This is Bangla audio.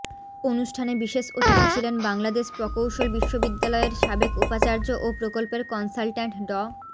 অনুষ্ঠানে বিশেষ অতিথি ছিলেন বাংলাদেশ প্রকৌশল বিশ্ববিদ্যালয়ের সাবেক উপাচার্য ও প্রকল্পের কনসালট্যান্ট ড